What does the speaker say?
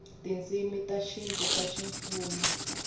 tindzimi ta xintu ta ximfumo